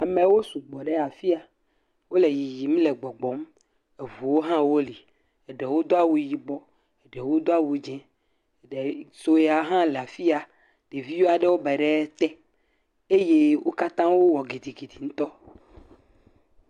Amewo sugbɔ ɖe afi ya wole yiyim le gbɔgbɔm. Eŋuwo hã woli. Eɖewo do awu yibɔ eɖewo do awu dzi. Ɖe sue aɖe hã le afi ya. Ɖevi aɖewo be ɖe te eye wo katã wowɔ gidigidi ŋutɔ.